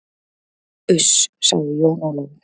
Uss, sagði Jón Ólafur.